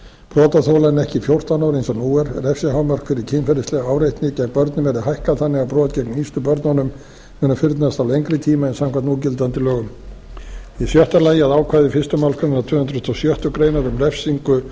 brotaþola en ekki fjórtán ára eins og nú er refsihámark fyrir kynferðislega áreitni gegn börnum verði hækkað þannig að brot gegn yngstu börnunum munu fyrnast á lengri tíma en samkvæmt núgildandi lögum í sjötta lagi að ákvæði fyrstu málsgrein tvö hundruð tuttugustu og sjöttu grein um refsingu